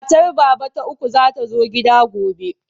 Matar Baba ta uku za ta zo gida gobe.